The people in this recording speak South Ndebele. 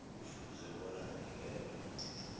kufuze bona anikelwe